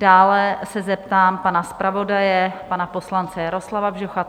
Dále se zeptám pana zpravodaje, pana poslance Jaroslava Bžocha?